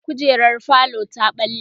kujerar falo ta ɓalle